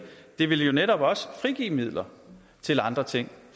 det vil jo netop også frigive midler til andre ting